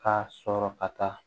K'a sɔrɔ ka taa